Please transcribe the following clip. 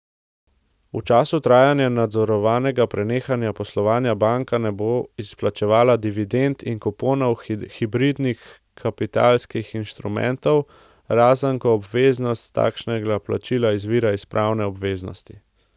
V času trajanja nadzorovanega prenehanja poslovanja banka ne bo izplačevala dividend in kuponov hibridnih kapitalskih instrumentov, razen ko obveznost takšnega plačila izvira iz pravne obveznosti.